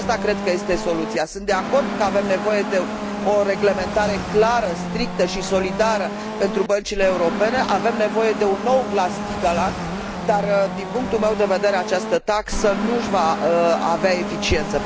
Aceasta cred că este soluția. Sunt de acord că avem nevoie de o reglementare clară, strictă și solidară pentru băncile europene, avem nevoie de un nou Glass Steagall Act, dar din punctul meu de vedere această taxă nu va avea eficiență.